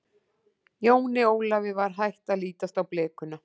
Jóni Ólafi var hætt að lítast á blikuna.